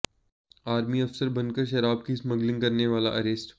army अफसर बनकर शराब की स्मगलिंग करने वाला अरेस्ट